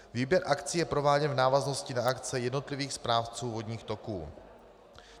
Výběr akcí je prováděn v návaznosti na akce jednotlivých správců vodních toků.